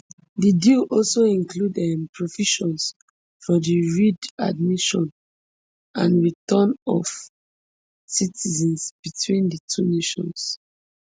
di deal also include um provisions for di readmission and return of citizens between di two nations